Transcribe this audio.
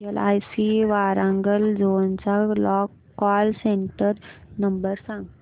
LIC Warangal zone चा call centre number सांग